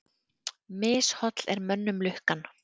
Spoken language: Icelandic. Misholl er mönnum lukkan.